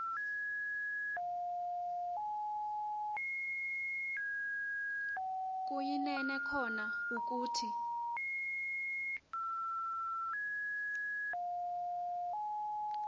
kuyinene kona ukuthi